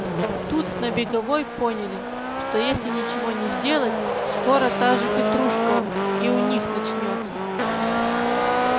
тут на беговой поняли что если ничего не сделать скоро та же петрушка и у них начнётся